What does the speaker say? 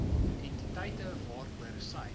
entiteite waaroor sy